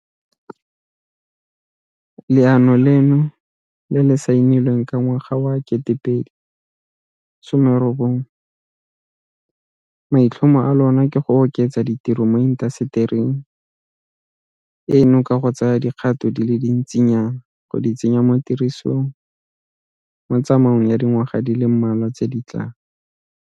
Leano leno le le saenilweng ka ngwaga wa 2019, maitlhomo a lona ke go oketsa ditiro mo intasetering eno ka go tsaya dikgato di le dintsinyana go di tsenya tirisong mo tsamaong ya dingwaga di le mmalwa tse di tlang.